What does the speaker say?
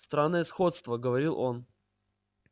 странное сходство говорил он